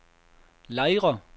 Lejre